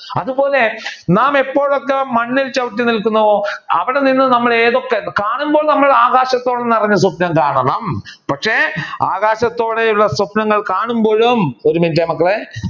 അതുപോലെ നാം എപ്പോൾ ഒക്കെ മണ്ണിൽ ചവിട്ടി നിൽക്കുന്നോ അവിടെ നിന്ന് നമ്മൾ ഏതൊക്കെ കാണുമ്പോൾ നമ്മൾ ആകാശത്തോളം നിറഞ്ഞു സ്വപ്നം കാണണം പക്ഷെ ആകാശത്തോളം ഉള്ള സ്വപ്‌നങ്ങൾ കാണുമ്പോഴും ഒരു മിനിറ്റ് മക്കളെ